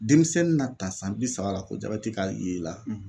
Denmisɛnnin na ta san bi saba la ko jabɛti ka ye ii la